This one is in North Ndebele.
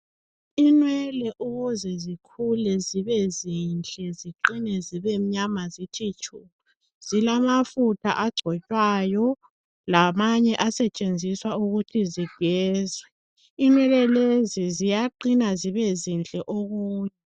Inwele ukuze zikhule zibe zinhle ziqine zibe mnyama zithi tshu zilamafutha ogcotshwayo lamanye asetshenziswa ukuthi zigezwe ,inwele lezi ziyaqina zibe zinhle okunye.